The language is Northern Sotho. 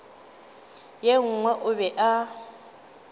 ye nngwe o be a